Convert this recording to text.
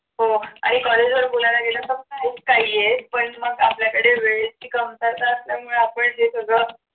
हो आणि college वर बोलायला गेलं तर खूप काही आहे पण मग आपल्याकडे वेळेची कमतरता असल्यामुळे आपण हे सगळं